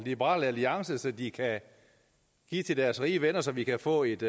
liberal alliance som de kan give til deres rige venner så vi kan få et